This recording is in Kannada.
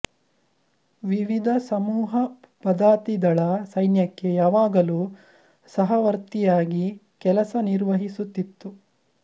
ವಿವಿಧ ಸಮೂಹ ಪದಾತಿದಳ ಸೈನ್ಯಕ್ಕೆ ಯಾವಾಗಲೂ ಸಹವರ್ತಿಯಾಗಿ ಕೆಲಸ ನಿರ್ವಹಿಸುತ್ತಿತ್ತು